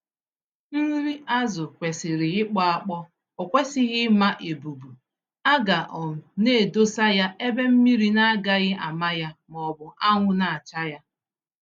Nri azụ kwesịrị ịkpọ-akpọ, okwesịghị ịma-ebubu, aga um naedosa ya ebe mmiri naagaghị àmà ya mọbụ anwụ nacha ya.